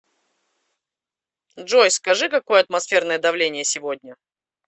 джой скажи какое атмосферное давление сегодня